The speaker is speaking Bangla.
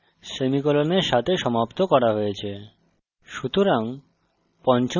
জাভাতে সমস্ত statements সেমিকোলনের সাথে সমাপ্ত করা হয়েছে